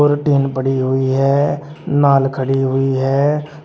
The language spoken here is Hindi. और टीन पड़ी हुई हैं नाल खड़ी हुई है।